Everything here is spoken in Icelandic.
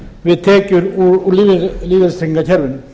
við tekjur úr lífeyristryggingakerfinu